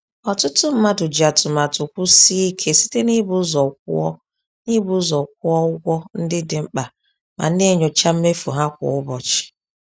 Ọtụtụ mmadụ ji atụmatụ kwụsie ike site n’ịbụ ụzọ kwụọ n’ịbụ ụzọ kwụọ ụgwọ ndị dị mkpa ma na-enyocha mmefu ha kwa ụbọchị.